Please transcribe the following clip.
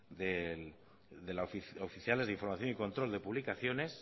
oficiales de información y control de publicaciones